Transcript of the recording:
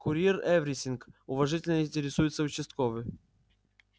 курьер эврисинг уважительно интересуется участковый